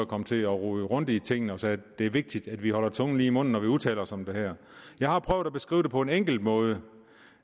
kom til at rode rundt i tingene og det er vigtigt at vi holder tungen lige i munden når vi udtaler os om det her jeg har prøvet at beskrive det på en enkel måde